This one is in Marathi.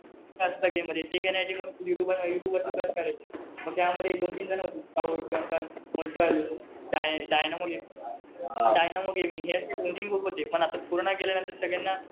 असतं गेम मध्ये. ते लगे मग यु ट्युब वर सर्च करायचं. मग त्यामध्ये दोन-तीन जणं होते. स्काऊट मग डल पण आता कोरोना गेल्यानंतर सगळ्यांना,